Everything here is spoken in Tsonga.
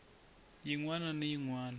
yin wana ni yin wana